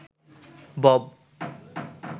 Bob